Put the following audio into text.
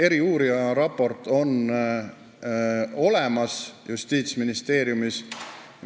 Eriuurija raport on olemas Justiitsministeeriumis.